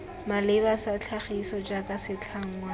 maleba sa tlhagiso jaaka setlhangwa